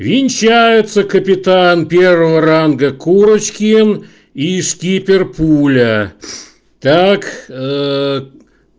венчаются капитан первого ранга курочкин и скипер пуля так